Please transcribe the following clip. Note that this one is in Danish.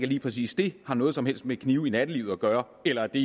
lige præcis det har noget som helst med knive i nattelivet at gøre eller at det